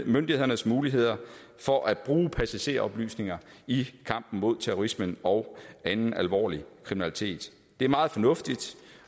myndighedernes muligheder for at bruge passageroplysninger i kampen mod terrorisme og anden alvorlig kriminalitet det er meget fornuftigt